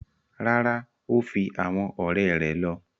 Rárá, o fi awọn ọrẹ rẹ lọ